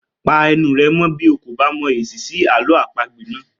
Pa ẹnu rẹ mọ́ bí ó kò bá mọ èsì sí àlọ́ àpagbè náà!